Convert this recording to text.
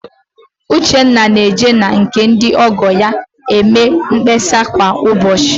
Uchenna na-eje na nke ndị ọ́gọ̀ ya eme mkpesa kwa ụbọchị